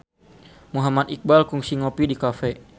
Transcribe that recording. Muhammad Iqbal kungsi ngopi di cafe